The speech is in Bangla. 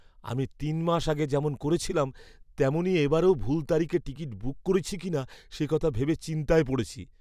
আমি তিন মাস আগে যেমন করেছিলাম, তেমনই এবারেও ভুল তারিখে টিকিট বুক করেছি কিনা সে কথা ভেবে চিন্তায় পড়েছি।